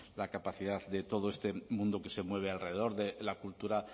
la capacidad de todo este mundo que se mueve alrededor de la cultura